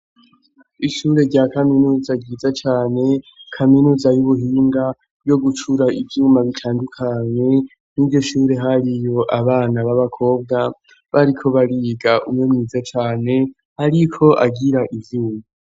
Ishure rya kaminuza ryiza cane, kaminuza y'ubuhinga yo gucura ivyuma bitandukanye. Muri iryo shure hariyo abana b'abakobwa bariko bariga, umwe mwiza cane ariko agira ivyuya.